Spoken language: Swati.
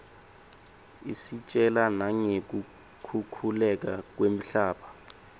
isitjela nangeku khukhuleka kwemhlaba